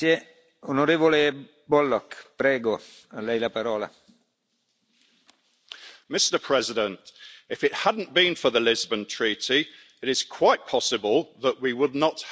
Mr President, if it hadn't been for the Lisbon Treaty it is quite possible that we would not have Brexit now.